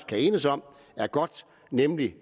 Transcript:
kan enes om er godt nemlig